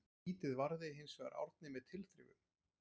Vítið varði hinsvegar Árni með tilþrifum.